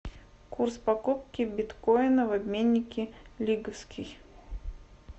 курс покупки биткоина в обменнике лиговский